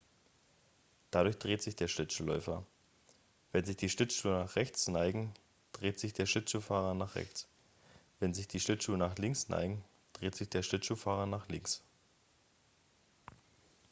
dadurch dreht sich der schlittschuhläufer wenn sich die schlittschuhe nach rechts neigen dreht sich der schlittschuhläufer nach rechts wenn sich die schlittschuhe nach links neigen dreht sich der schlittschuhläufer nach links